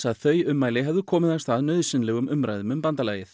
að þau ummæli hefðu komið af stað nauðsynlegum umræðum um bandalagið